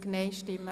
, Ziff